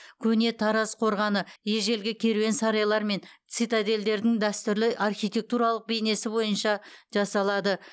көне тараз қорғаны ежелгі керуен сарайлар мен цитадельдердің дәстүрлі архитектуралық бейнесі бойынша жасалады